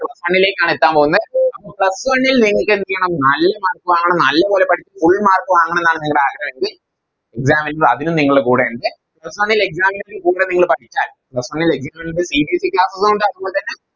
Plus one ലേക്കാണെത്താൻ പൊന്നേ അപ്പൊ Plus one ൽ നിങ്ങൾക്കെന്തെയ്യണം നല്ല Mark വാങ്ങണം നല്ലപോലെ പഠിച്ച് Full mark വാങ്ങണംന്നാണ് നിങ്ങടെ ആഗ്രഹവെങ്കിൽ Exam വരുമ്പോ അതിനു നിങ്ങള് കൂടെയെൻറെ Plus one ലെ Exam ൻറെ കൂടെ നിങ്ങള് പഠിച്ചാൽ Plus one ലെ examCBSEClass ഉള്ളൊണ്ട് അതുപോൽത്തന്നെ